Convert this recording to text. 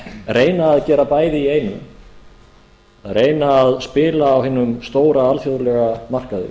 reyna að gera bæði í einu að reyna að spila á hinum stóra alþjóðlega markaði